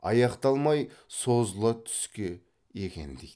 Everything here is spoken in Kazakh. аяқталмай созыла түске екен дейді